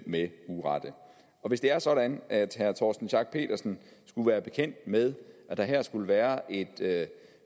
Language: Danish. med urette hvis det er sådan at herre torsten schack pedersen skulle være bekendt med at der her skulle være et